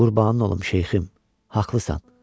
Qurbanın olum şeyxim, haqlısan.